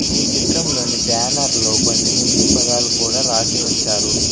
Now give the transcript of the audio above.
ఈ చిత్రంలోని బ్యానర్ లో కొన్ని హిందీ పదాలు కూడా రాసి ఉంచారు.